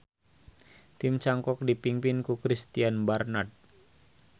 Tim cangkok dipingpin ku Christiaan Barnard.